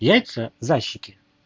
яйца за щеки